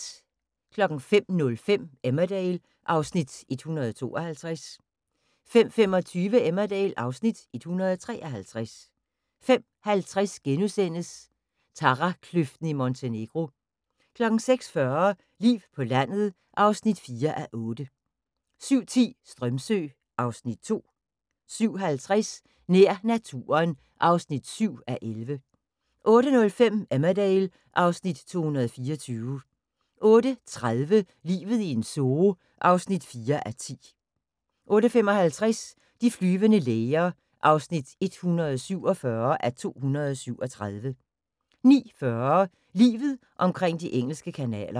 05:05: Emmerdale (Afs. 152) 05:25: Emmerdale (Afs. 153) 05:50: Tarakløften i Montenegro * 06:40: Liv på landet (4:8) 07:10: Strömsö (Afs. 2) 07:50: Nær naturen (7:11) 08:05: Emmerdale (Afs. 224) 08:30: Livet i en zoo (4:10) 08:55: De flyvende læger (147:237) 09:40: Livet omkring de engelske kanaler